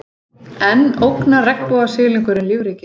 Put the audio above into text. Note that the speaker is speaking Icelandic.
Enn ógnar regnbogasilungurinn lífríkinu